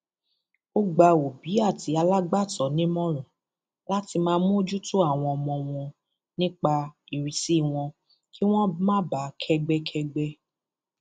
ó gba òbí àti alágbàtọ nímọràn láti máa mójútó àwọn ọmọ wọn nípa ìrísí wọn kí wọn máa báa kẹgbẹkẹgbẹ